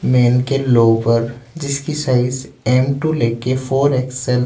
main के lower जिसकी size M to लेके फोर एक्स_एल --